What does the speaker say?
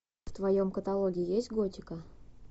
в твоем каталоге есть готика